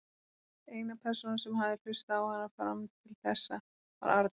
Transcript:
Eina persónan sem hafði hlustað á hana fram til þessa var Arnar.